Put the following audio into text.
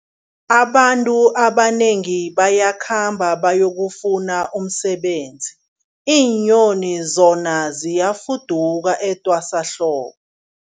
Abantu abanengi bayakhamba bayokufuna umsebenzi, iinyoni zona ziyafuduka etwasahlobo.